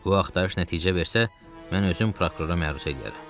Bu axtarış nəticə versə, mən özüm prokurora məruz eləyərəm.